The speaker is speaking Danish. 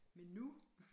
Men nu